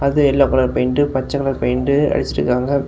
இதுல yellow colour paint பச்ச colour paint அடிச்சிருக்காங்க.